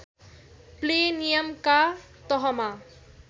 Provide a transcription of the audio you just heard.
play नियमका तहमा